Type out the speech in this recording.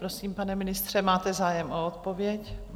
Prosím, pane ministře, máte zájem o odpověď?